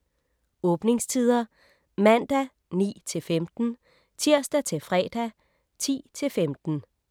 Åbningstider: Mandag: 9-15 Tirsdag-fredag: 10-15